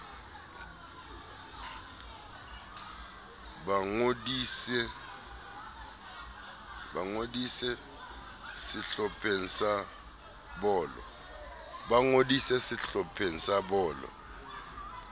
ba ngodise sehlopheng sa bolo